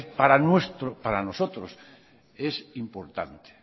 para nosotros es importante